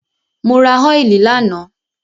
Mo ra óìlì lánàá.